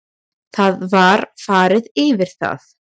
Það var farið yfir það